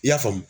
I y'a faamu